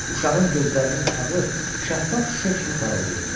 Uşağın gözlərinin ağı şəffaf şüşə kimi parıldayırdı.